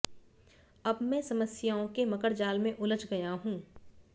अब मैं समस्याओं के मकड़जाल में उलझ गया हूं